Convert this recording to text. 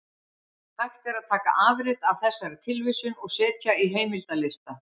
Hægt er að taka afrit af þessari tilvísun og setja í heimildalista.